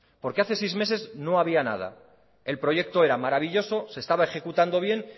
hace seis meses no había nada el proyecto era maravilloso se estaba ejecutando bien